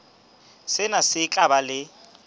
sena se tla ba le